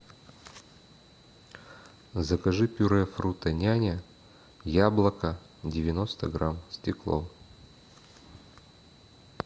закажи пюре фрутоняня яблоко девяносто грамм стекло